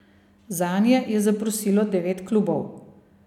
Zanje je zaprosilo devet klubov.